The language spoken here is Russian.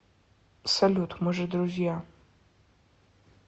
салют мы же друзья